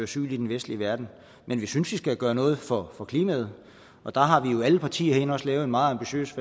asyl i den vestlige verden men vi synes vi skal gøre noget for for klimaet og der har alle partier herinde også lavet en meget ambitiøs